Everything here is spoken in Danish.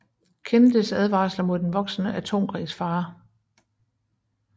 Kennedys advarsler mod den voksende atomkrigsfare